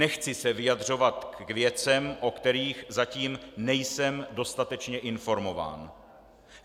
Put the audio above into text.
Nechci se vyjadřovat k věcem, o kterých zatím nejsem dostatečně informován.